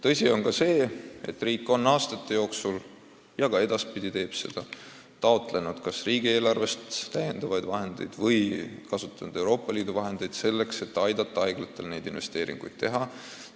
Tõsi on ka see, et riik on aastate jooksul taotlenud ja taotleb ka edaspidi riigieelarvest täiendavaid vahendeid või Euroopa Liidu raha selleks, et aidata haiglatel vajalikke investeeringuid teha.